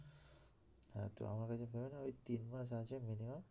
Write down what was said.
হ্যাঁ তুই আমার কাছে ভেবে নে ওই তিনমাস আছে minimum